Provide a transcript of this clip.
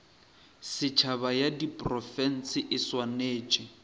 setšhaba ya diprofense e swanetše